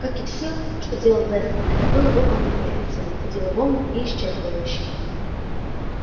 как и все что делал вестон это было выполнено эффективно по-деловому и исчерпывающе